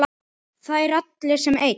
Þeir allir sem einn?